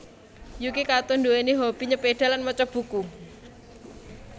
Yuki Kato nduwèni hobi nyepeda lan maca buku